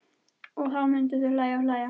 Og þá myndu þau hlæja og hlæja.